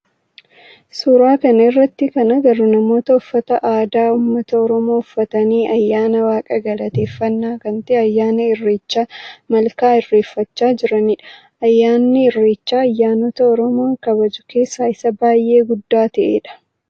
Suuraa kana irratti kan agarru namoota uffata aadaa ummata oromoo uffatanii ayyaana waaqa galateeffannaa kan ta'e ayyaana irreecha malkaa irreeffachaa jiranidha. Ayyaanni irreechaa ayyaanota oromoon kabaju keessaa isa baayyee guddaa ta'edha.